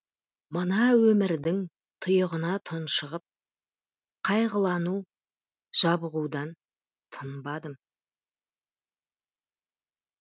мына өмірдің тұйығына тұншығып қайғылану жабығудан тынбадым